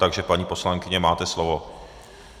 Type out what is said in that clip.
Takže paní poslankyně, máte slovo.